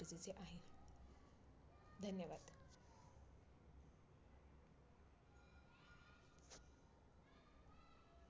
धन्यवाद!